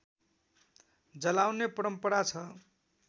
जलाउने परम्परा छ